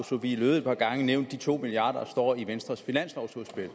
sophie løhde et par gange nævnt de to milliard kr i venstres finanslovudspil